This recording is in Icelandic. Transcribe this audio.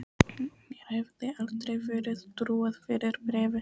Mér hefði aldrei verið trúað fyrir bréfi.